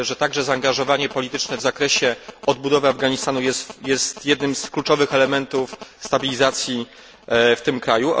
Myślę także, że zaangażowanie polityczne w zakresie odbudowy Afganistanu jest jednym z kluczowych elementów stabilizacji w tym kraju.